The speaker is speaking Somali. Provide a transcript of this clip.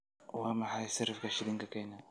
waa maxay sarifka shilinka kenya